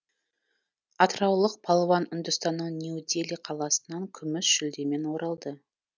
атыраулық палуан үндістанның нью дели қаласынан күміс жүлдемен оралды